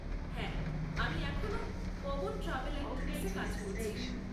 হ্যাঁ, আমি এখনো পবন ট্র্যাভেল অ্যান্ড ট্যুরস এ কাজ করছি।